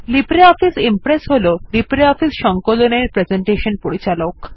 LibreOffice Impress হল LibreOffice সংকলনের presentation পরিচালক